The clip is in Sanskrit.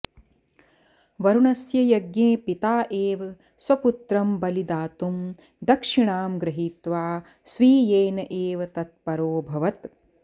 वरुणस्य यज्ञे पिता एव स्वपुत्रं बलि दातुं दक्षिणां गृहीत्वा स्वीयेन एव तत्परोऽभवत्